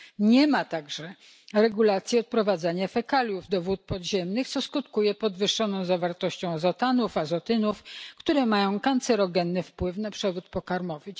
Nie ma także regulacji odprowadzania fekaliów do wód podziemnych, co skutkuje podwyższoną zawartością azotanów, azotynów, które mają kancerogenny wpływ na przewód pokarmowy.